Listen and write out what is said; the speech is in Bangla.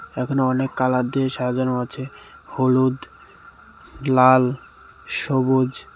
এখানে অনেক কালার দিয়ে সাজানো আছে হলুদ লাল সবুজ .